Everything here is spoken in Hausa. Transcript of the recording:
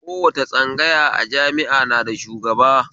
Kowace tsangaya a jami'a na da shugaba